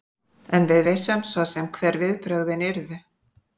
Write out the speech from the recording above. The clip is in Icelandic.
En við vissum svo sem hver viðbrögðin yrðu.